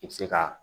I bi se ka